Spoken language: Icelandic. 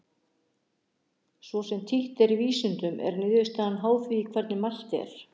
svo sem títt er í vísindum er niðurstaðan háð því hvernig er mælt